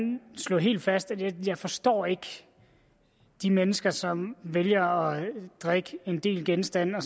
slå helt fast jeg forstår ikke de mennesker som vælger at drikke en del genstande og